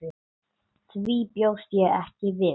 Því bjóst ég ekki við.